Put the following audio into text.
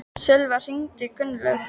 Sölva, hringdu í Gunnlaug.